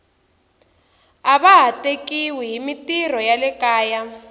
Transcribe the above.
ava ha tekiwi himitirho ya le kaya